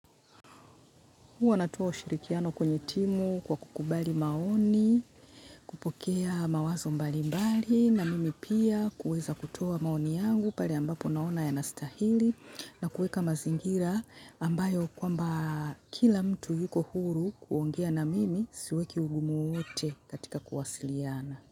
Huwa natoa ushirikiano kwenye timu kwa kukubali maoni, kupokea mawazo mbalimbali na mimi pia kuweza kutoa maoni yangu pale ambapo naona yanastahili na kuweka mazingira ambayo kwamba kila mtu yuko huru kuongea na mimi usiweke unusual yoyote katika kuwasiliana.